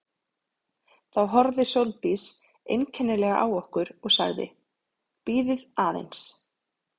Þá horfði Sóldís einkennilega á okkur og sagði: Bíðið aðeins